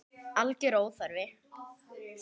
Alger óþarfi.